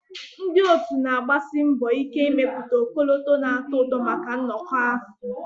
Ndị otu na-agbasi mbọ ike ịmepụta ọkọlọtọ na-atọ ụtọ maka nnọkọ ahụ